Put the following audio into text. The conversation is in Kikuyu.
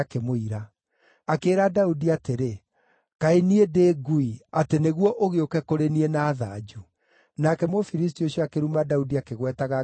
Akĩĩra Daudi atĩrĩ, “Kaĩ niĩ ndĩ ngui atĩ nĩguo ũgĩũke kũrĩ niĩ na thanju?” Nake Mũfilisti ũcio akĩruma Daudi akĩgwetaga ngai ciake.